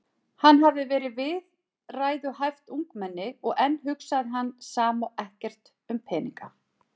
Hann hafði verið viðræðuhæft ungmenni og enn hugsaði hann sama og ekkert um peninga.